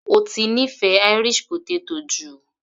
Ó ti nífẹ̀ẹ́ Irish potato jù